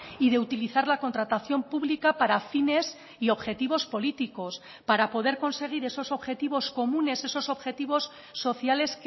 y de utilizar la contratación pública para fines y objetivos políticos para poder conseguir esos objetivos comunes esos objetivos sociales